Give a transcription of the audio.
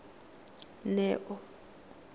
neo